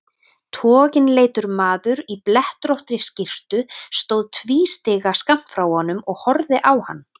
Toginleitur maður í blettóttri skyrtu stóð tvístígandi skammt frá honum og horfði á hann.